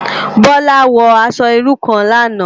Bola wò aṣò irú kán làná